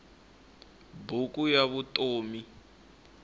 buku ya vutom